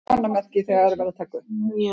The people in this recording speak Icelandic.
Vígberg, hækkaðu í græjunum.